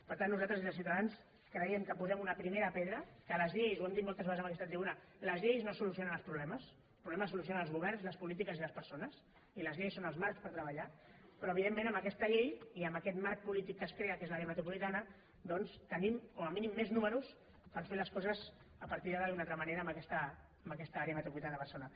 per tant nosaltres des de ciutadans creiem que posem una primera pedra que les llei ho hem dit moltes vegades en aquesta tribuna les lleis no solucionen els problemes els problemes els solucionen els governs les polítiques i les persones i les lleis són el marc per treballar però evidentment amb aquesta llei i en aquest marc polític que es crea que és l’àrea metropolitana doncs tenim com a mínim més números per fer les coses a partir d’ara d’una altra manera en aquesta àrea metropolitana de barcelona